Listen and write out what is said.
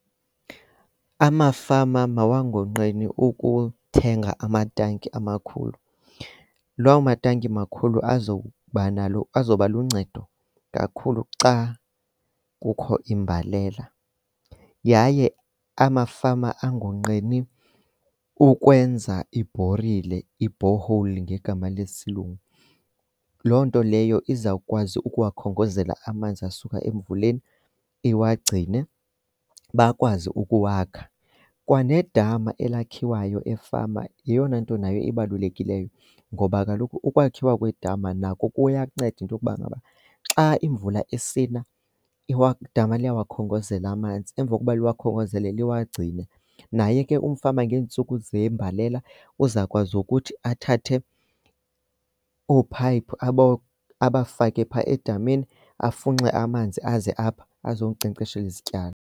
Amafama mawangoqeni ukuthenga amatanki amakhulu. Lawo matanki makhulu azokuba nalo azoba luncedo kakhulu xa kukho imbalela. Yaye amafama angonqeni ukwenza ibhorile, i-borehole ngegama lesilungu. Loo nto leyo izawukwazi ukuwakhongozela amanzi asuka emvuleni iwagcine bakwazi ukuwakha. Kwanedama elakhiwayo efama yeyona nto nayo ebalulekileyo ngoba kaloku ukwakhiwa kwedama nako kuyanceda into yokuba ngaba, xa imvula isina idama liyawakhongozela amanzi. Emva kokuba liwakhongozele liwagcine. Naye ke umfama ngeentsuku zembalela uzawukwazi ukuthi athathe oophayiphi abafake phaa edameni afunxe amanzi aze apha azokunkcenkceshela izityalo.